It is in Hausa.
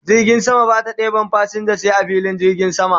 Jirgin sama Bata ɗeban fasinja sai a filin jirgin sama